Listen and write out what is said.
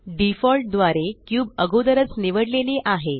default द्वारे cube अगोदरच निवडलेली आहे